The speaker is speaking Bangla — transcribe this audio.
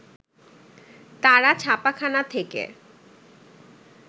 তারা ছাপাখানা থেকে